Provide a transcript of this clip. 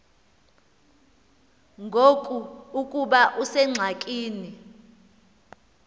ngoku ukuba usengxakini